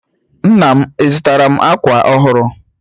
Nna m, ị zụtaara m akwa ọhụrụ?